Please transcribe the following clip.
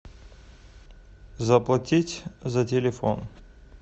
заплатить за телефон